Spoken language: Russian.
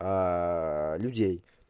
людей